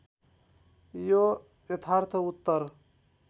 यो यथार्थ उत्तर